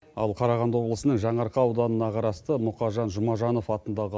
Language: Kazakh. ал қарағанды облысының жаңаарқа ауданына қарасты мұқажан жұмажанов атындағы